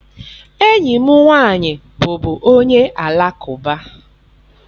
Enyi m nwaanyị bụbu onye alakụba.